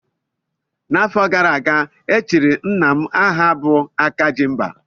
N'afọ gara aga, e chiri Nna m aha bụ "Akajimba"